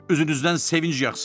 Üzünüzdən sevinc yaqsın.